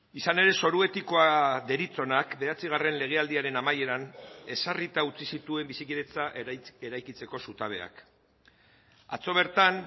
izan ere zoru etikoa deritzonak bederatzigarren legealdiaren amaieran ezarrita utzi zituen bizikidetza eraikitzeko zutabeak atzo bertan